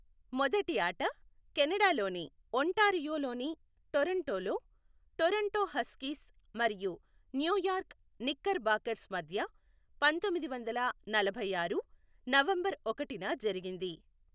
మొదటి ఆట కెనడాలోని ఒంటారియోలోని టొరంటోలో, టొరంటో హస్కీస్ మరియు న్యూయార్క్ నిక్కర్బాకర్స్ మధ్య పంతొమ్మిది వందల నలభైఆరు నవంబరు ఒకటిన జరిగింది.